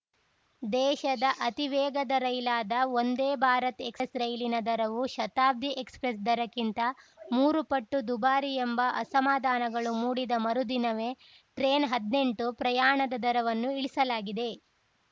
ದೇಶದ ಅತಿ ವೇಗದ ರೈಲಾದ ವಂದೇ ಭಾರತ್‌ ಎಕ್ಸ್‌ಪ್ರೆಸ್‌ ರೈಲಿನ ದರವು ಶತಾಬ್ದಿ ಎಕ್ಸ್‌ಪ್ರೆಸ್‌ ದರಕ್ಕಿಂತ ಮೂರು ಪಟ್ಟು ದುಬಾರಿ ಎಂಬ ಅಸಮಾಧಾನಗಳು ಮೂಡಿದ ಮರುದಿನವೇ ಟ್ರೈನ್‌ಹದ್ನೆಂಟು ಪ್ರಯಾಣದ ದರವನ್ನು ಇಳಿಸಲಾಗಿದೆ